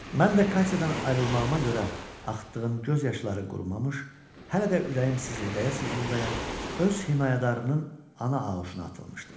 Mən də Katyadan ayrılmağıma görə axıtdığım göz yaşları qurumamış, hələ də ürəyim sızıldaya-sızıldaya öz himayədarının ana auşuna atılmışdım.